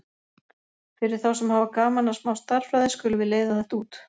Fyrir þá sem hafa gaman að smá stærðfræði skulum við leiða þetta út: